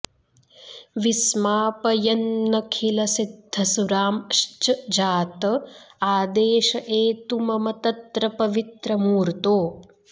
विस्मापयन्नखिलसिद्धसुरांश्च जात आदेश एतु मम तत्र पवित्र मूर्तो